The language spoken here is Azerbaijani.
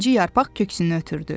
İkinci yarpaq köksünü ötürdü.